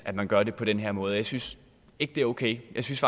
at man gør det på den her måde jeg synes ikke det er okay jeg synes